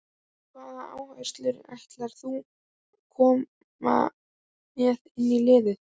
Hvaða áherslur ætlar þú koma með inn í liðið?